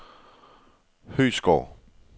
Høeghsgård